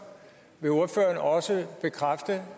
vil ordføreren også bekræfte